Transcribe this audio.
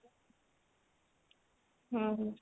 ଓଃ ହୋ